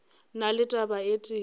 na le taba e tee